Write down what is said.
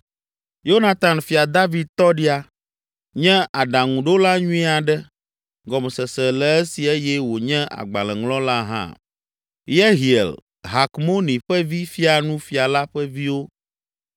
Yonatan, Fia David tɔɖia, nye aɖaŋuɖola nyui aɖe; gɔmesese le esi eye wònye agbalẽŋlɔ la hã. Yehiel, Hakmoni ƒe vi fia nu fia la ƒe viwo.